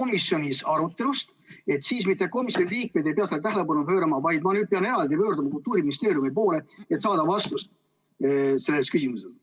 komisjonis arutatu kohta, siis ei pea mitte komisjoni liikmed sellele tähelepanu pöörama, vaid ma pean eraldi pöörduma Kultuuriministeeriumi poole, et saada vastus sellele küsimusele?